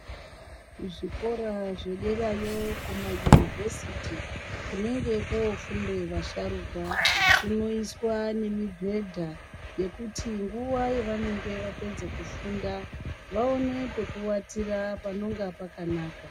Kuzvikora zvederayo kumayunivhesiti kunenge kofunde vasharuka kunoiswa nemibhedha yekuti nguwa yavanenga vapedze kufunda vaone pekuwatira panonga pakanaka.